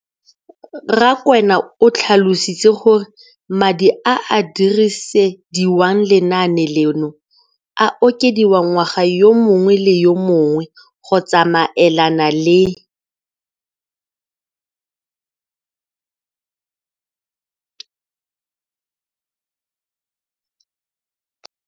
Rakwena o tlhalositse gore madi a a dirisediwang lenaane leno a okediwa ngwaga yo mongwe le yo mongwe go tsamaelana le